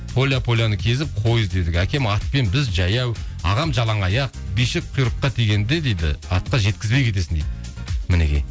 поля поляны кезіп қой іздедік әкем атпен біз жаяу ағам жалаңаяқ бишік құйрыққа тигенде дейді атқа жеткізбей кетесің дейді мінекей